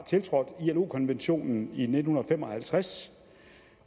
tiltrådt ilo konventionen i nitten fem og halvtreds